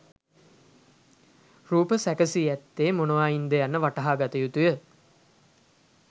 රූප සැකසී ඇත්තේ මොනවායින් ද යන්න වටහාගත යුතු ය.